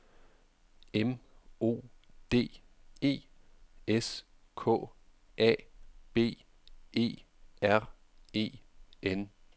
M O D E S K A B E R E N